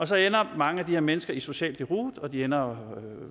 så ender mange af de her mennesker i social deroute og de ender